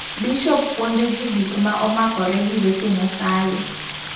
Bishop puonjo ji gik ma omakore gi weche Nyasaye.